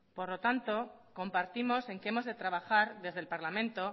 por lo tanto compartimos en que hemos de trabajar desde el parlamento